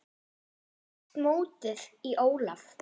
Hvernig leggst mótið í Ólaf?